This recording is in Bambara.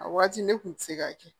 A waati ne kun ti se k'a kɛ